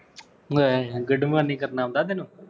good morning ਕਰਨਾ ਆਉਂਦਾ ਤੈਨੂੰ